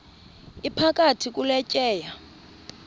iphakathi kule tyeya